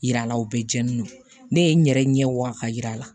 Yira la o bɛɛ jeni ne ye n yɛrɛ ɲɛ wa ka yira la